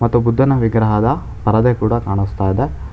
ಮತ್ತು ಬುದ್ಧನ ವಿಗ್ರಹದ ಪರದೆ ಕೂಡ ಕಾಣಸ್ತಾ ಇದೆ.